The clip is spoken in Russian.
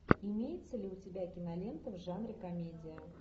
имеется ли у тебя кинолента в жанре комедия